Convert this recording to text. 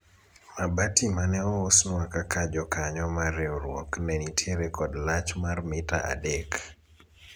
mabati mane ousnwa kaka jokanyo mar riwruok ne nitiere kod lach mar mita adek